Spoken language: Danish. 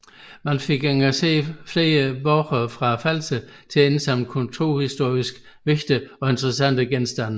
Man fik engageret flere borgere fra Falster til at indsamle kulturhistorisk vigtige og interessante genstande